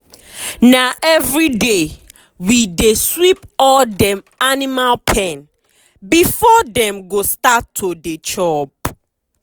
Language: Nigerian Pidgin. na everyday we dey sweep all dem animal pen before dem go start to dey chop.